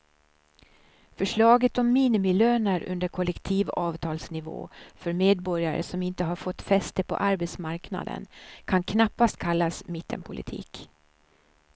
Förslaget om minimilöner under kollektivavtalsnivå för medborgare som inte har fått fäste på arbetsmarknaden kan knappast kallas mittenpolitik.